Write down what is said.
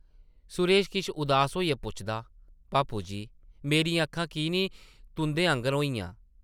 सुरेश किश उदास होइयै पुछदा, ‘‘पापू जी, मेरियां अक्खां की नेईं तुंʼदे आंगर होइयां ?’’